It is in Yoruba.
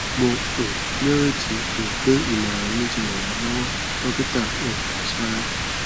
mo um ní ìrètí um pé ìmọràn mi ti ràn ẹ lọwọ dókítà um sara